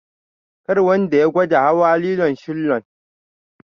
Kar wanda ya gwada hawa lilon shillon.